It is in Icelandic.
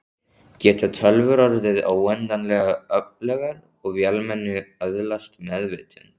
Geta tölvur orðið óendanlegar öflugar og vélmenni öðlast meðvitund?